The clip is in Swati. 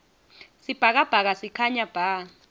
sibhakabhaka sikhanya bha